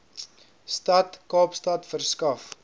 stad kaapstad verskaf